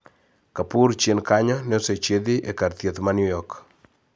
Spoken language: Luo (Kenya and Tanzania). Kapoor chien kanyo ne osechiedhi kar thieth ma New York